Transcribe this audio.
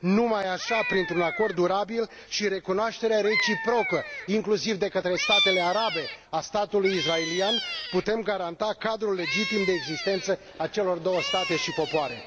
Numai așa, printr un acord durabil și recunoașterea reciprocă, inclusiv de către statele arabe, a statului israelian, putem garanta cadrul legitim de existență a celor două state și popoare.